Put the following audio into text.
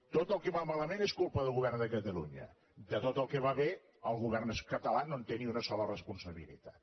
tot el que va malament és culpa del govern de catalunya de tot el que va bé el govern català no en té ni una sola responsabilitat